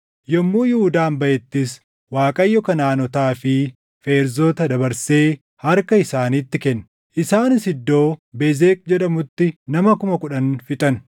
Yommuu Yihuudaan baʼettis Waaqayyo Kanaʼaanotaa fi Feerzota dabarsee harka isaaniitti kenne; isaanis iddoo Bezeq jedhamutti nama kuma kudhan fixan.